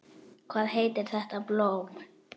Hvað heitir þetta blóm?